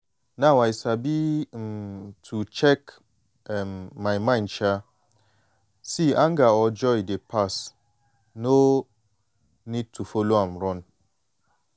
now i sabi um to check um my mind um see anger or joy dey pass no need to follow am run.